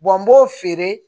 n b'o feere